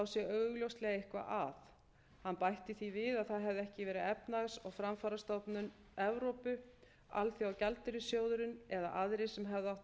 sé augljóslega eitthvað að hann bætti því við að það hefði ekki verið efnahags og framfarastofnun evrópu alþjóðagjaldeyrissjóðurinn eða aðrir sem hefðu átt að vera